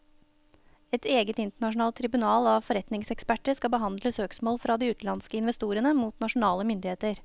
Et eget internasjonalt tribunal av forretningseksperter skal behandle søksmål fra de utenlandske investorene mot nasjonale myndigheter.